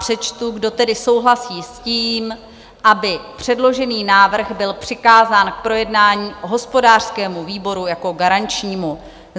Přečtu: Kdo tedy souhlasí s tím, aby předložený návrh byl přikázán k projednání hospodářskému výboru jako garančnímu?